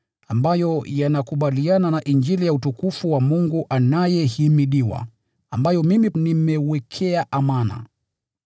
ambayo yanakubaliana na Injili ya utukufu wa Mungu anayehimidiwa, ambayo mimi nimewekewa amana.